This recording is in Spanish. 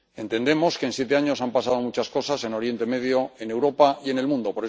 Entendemos que en siete años han pasado muchas cosas en Oriente Medio, en Europa y en el mundo.